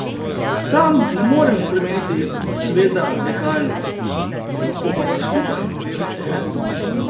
Sam ne morem spremeniti sveta radikalno, lahko pa ga skupaj, kajne?